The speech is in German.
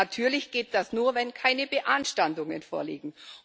Natürlich geht das nur, wenn keine Beanstandungen vorliegen.